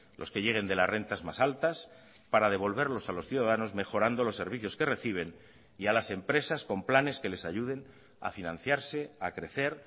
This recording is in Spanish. los que lleguen de las rentas más altas para devolverlos a los ciudadanos mejorando los servicios que reciben y a las empresas con planes que les ayuden a financiarse a crecer